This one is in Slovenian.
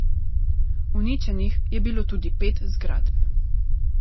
Uničenih je bilo tudi pet zgradb.